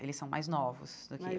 Eles são mais novos do que eu. Mas